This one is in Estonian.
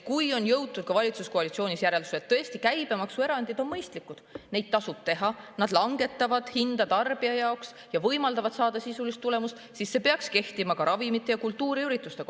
Kui valitsuskoalitsioonis on jõutud järeldusele, et käibemaksuerandid on mõistlikud, neid tasub teha, need langetavad hinda tarbija jaoks ja võimaldavad saavutada sisulist tulemust, siis peaksid need kehtima ka ravimitele ja kultuuriüritustele.